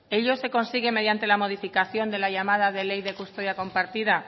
ello se consigue mediante la modificación de la llamada de ley de la custodia compartida